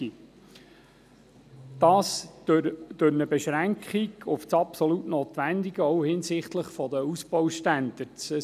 dies durch Beschränkung auf das absolut Notwendige, auch hinsichtlich der Ausbaustandards.